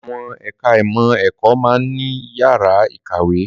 Àwọn ẹ̀ka ìmọ̀ ẹ̀kọ́ máa ń ní yàrá ìkàwé